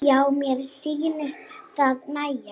Já, mér sýnist það nægja!